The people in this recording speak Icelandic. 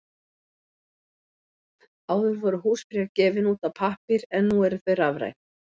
Áður voru húsbréf gefin út á pappír en nú eru þau rafræn.